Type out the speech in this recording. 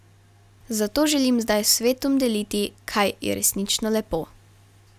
Zato želim zdaj s svetom deliti, kaj je resnično lepo.